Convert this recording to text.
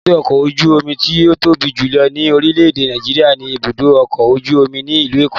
Èbúté ọkọ ojú omi ti o tobi julọ ni orilẹ-ede Nàìjíríà ni ibudo ọkọ oju omi ni ilu Eko